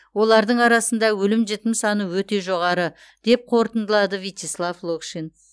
олардың арасында өлім жітім саны өте жоғары деп қорытындылады вичеслав локшин